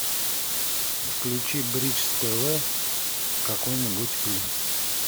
включи бридж тв какой нибудь фильм